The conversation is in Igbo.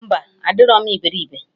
Mba, adịrọ m iberibe